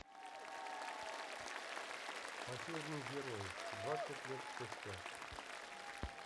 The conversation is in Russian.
последний герой двадцать лет спустя